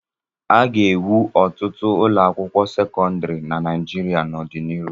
A ga-ewu ọtụtụ ụlọ akwụkwọ sekọndrị na Naịjirịa n'ọdịnihu.